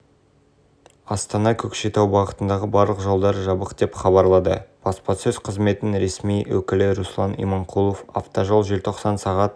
айта кетейік әли ахмедов бұған дейін өткізген төрт кездесуін уақытынан бұрын аяқтаған сонымен қатар қазақстандық боксшыға